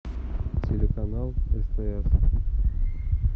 телеканал стс